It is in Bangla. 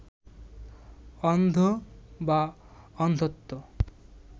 অন্ধ বা অন্ধত্ব